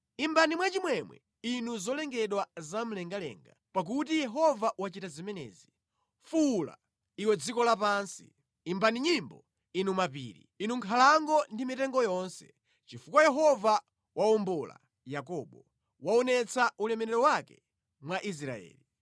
Imbani mwachimwemwe, inu zolengedwa zamlengalenga, pakuti Yehova wachita zimenezi; fuwula, iwe dziko lapansi. Imbani nyimbo, inu mapiri, inu nkhalango ndi mitengo yonse, chifukwa Yehova wawombola Yakobo, waonetsa ulemerero wake mwa Israeli.